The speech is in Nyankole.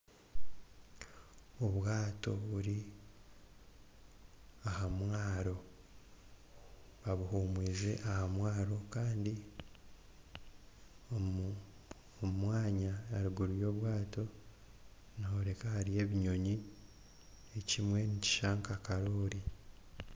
Obwato buri aha mwaro. Abuhuumwize aha mwaro kandi omu omwanya aharuguru y'obwato nihoreka hariyo ebinyonyi, ekimwe nikishusha nka karooli.